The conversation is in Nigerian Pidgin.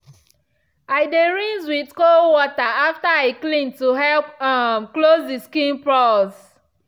i dey rinse with cold water after i clean to help um close the skin pores.